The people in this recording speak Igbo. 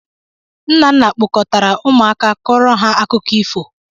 Nnanna kpọkọtara ụmụaka kọọrọ ha akụkọ ifo.